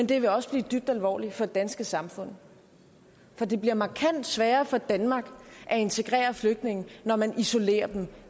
det vil også have dybt alvorlige konsekvenser for det danske samfund for det bliver markant sværere for danmark at integrere flygtninge når man isolerer dem